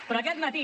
però aquest matí